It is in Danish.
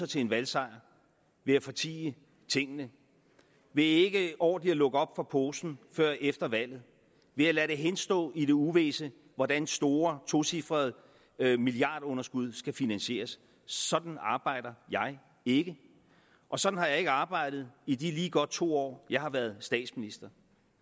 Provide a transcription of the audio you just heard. til en valgsejr ved at fortie tingene ved ikke ordentligt at lukke op for posen før efter valget ved at lade det henstå i det uvisse hvordan store tocifrede milliardunderskud skal finansieres sådan arbejder jeg ikke og sådan har jeg ikke arbejdet i de lige godt to år jeg har været statsminister